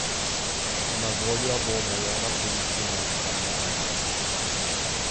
Na voljo bo omejena količina izbranega masla.